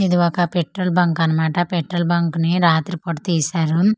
ఇది ఒక petrol bunk అన్నమాట పెట్రోల్ బంక్ ని రాత్రిపూట తీశారు.